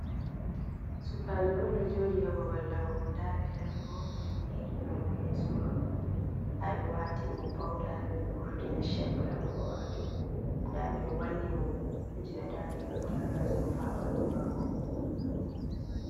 Sukaajo on, ɗo jooɗi ha babal laɓugo. Nda ɓe laɓi mo ɓe ɗo geri na mo yeeso maako. Nda ɓe waatini mo pauda ha ɓe vurtina shep laɓugo maajum. Nda ɓe ɗo wanni mo kuje ha dande ngam ta gaasa rufa ha ɓandu maako.